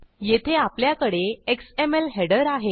येथे आपल्याकडे XML header आहे